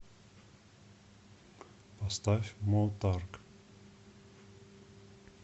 поставь мо тарк